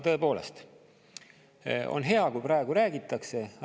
Tõepoolest on hea, kui praegu räägitakse.